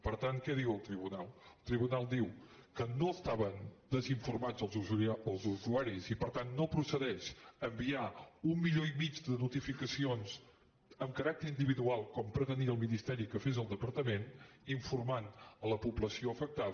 per tant què diu el tribunal el tribunal diu que no estaven desinformats els usuaris i per tant no procedeix enviar un milió i mig de notificacions amb caràcter individual com pretenia el ministeri que fes el departament per informar la població afectada